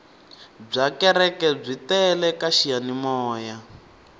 byakereke byi tele kaxiyani moya